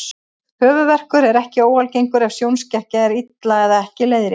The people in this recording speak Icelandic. Höfuðverkur er ekki óalgengur ef sjónskekkja er illa eða ekki leiðrétt.